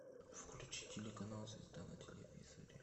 включи телеканал звезда на телевизоре